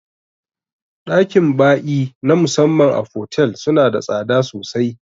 Ɗakin ba'i na musamman a fotel suna da tsada sosai